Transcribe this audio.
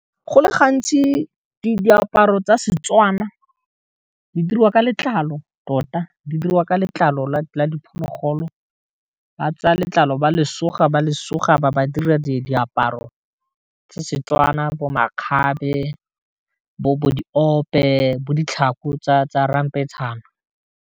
Go le gantsi di diaparo tsa Setswana di dirwa ka letlalo tota di dirwa ka letlalo la diphologolo ba tsa letlalo ba le suga ba le suga ba ba dira di diaparo tsa Setswana bo makgabe bo di ope bo ditlhako tsa ramphetšhane.